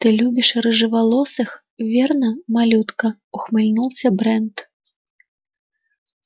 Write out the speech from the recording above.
ты любишь рыжеволосых верно малютка ухмыльнулся брент